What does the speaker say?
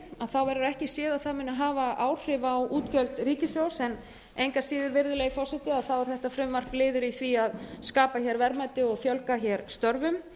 með frumvarpinu verður ekki séð að það muni hafa áhrif á útgjöld ríkissjóðs en engu að síður er þetta frumvarp liður í því að skapa verðmæti og fjölga störfum